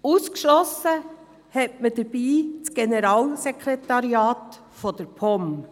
Ausgeschlossen hat man dabei das Generalsekretariat der POM.